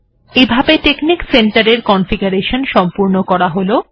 এভাবে technic centre এর configuration সম্পূর্ণ করা হল